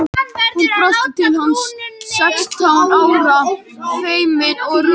Hún brosti til hans, sextán ára, feimin og rjóð.